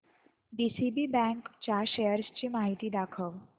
DCB bank च्या shares ची माहिती दाखव